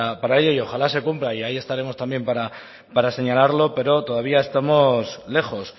para ello y ojalá se cumpla y ahí estaremos también para señalarlo pero todavía estamos lejos